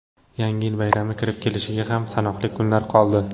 Yangi yil bayrami kirib kelishiga ham sanoqli kunlar qoldi.